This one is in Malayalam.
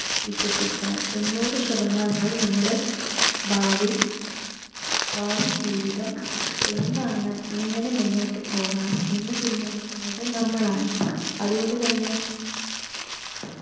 വിശ്വസിക്കണം. തൊണ്ണൂറു ശതമാനവും നമ്മുടെ ഭാവി, ഭാവി ജീവിതം എന്താണ്? എങ്ങനെ മുന്നോട്ട് പോവണം എന്ന് തീരുമാനിക്കുന്നത് നമ്മളാണ് അതുകൊണ്ട് തന്നെ